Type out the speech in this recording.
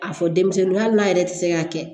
A fɔ denmisɛnnin hali yɛrɛ tɛ se k'a kɛ